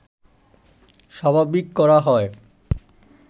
স্বাভাবিক করা হয়